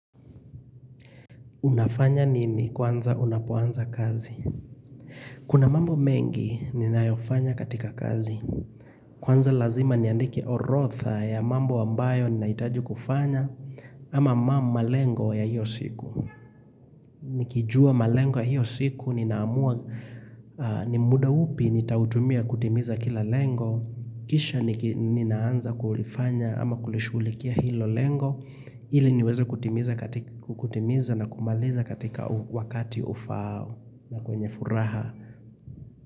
Unafanya nini kwanza unapoanza kazi? Kuna mambo mengi ninayofanya katika kazi. Kwanza lazima niandike orotha ya mambo ambayo ninaitaji kufanya ama mamma lengo ya hiyo siku. Nikijua malengo ya hiyo siku ninaamua ni muda upi nitautumia kutimiza kila lengo. Kisha ninaanza kulifanya ama kulishugulikia hilo lengo. Hili niweze kutimiza na kumaliza katika wakati ufao na kwenye furaha.